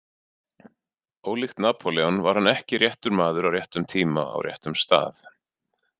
Ólíkt Napóleon var hann ekki réttur maður, á réttum tíma, á réttum stað.